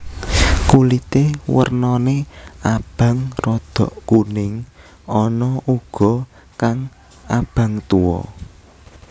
Kulité wernané abang rada kuning ana uga kang abang tuwa